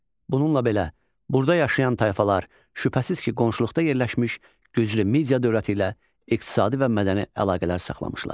Bununla belə, burda yaşayan tayfalar şübhəsiz ki, qonşuluqda yerləşmiş güclü Media dövləti ilə iqtisadi və mədəni əlaqələr saxlamışlar.